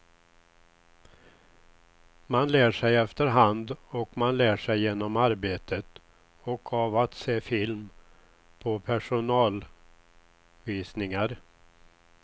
Man lär sig efterhand och man lär sig genom arbetet och av att se film på personalvisningar.